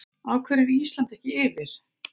AF HVERJU ER ÍSLAND EKKI YFIR????